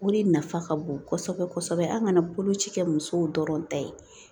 Wuli nafa ka bon kosɛbɛ kosɛbɛ an kana boloci kɛ musow dɔrɔn ta ye